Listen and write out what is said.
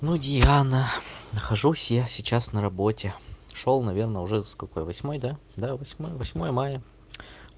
ну диана нахожусь я сейчас на работе шёл наверное уже сколько восьмое да восьмое мая